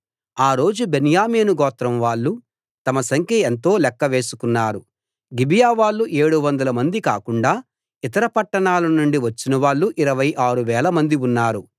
ఆ రోజు బెన్యామీను గోత్రం వాళ్ళు తమ సంఖ్య ఎంతో లెక్క వేసుకున్నారు గిబియా వాళ్ళు ఏడువందల మంది కాకుండా ఇతర పట్టణాలనుండి వచ్చినవాళ్ళు ఇరవై ఆరు వేల మంది ఉన్నారు